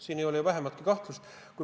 Selles ei ole ju vähimatki kahtlust.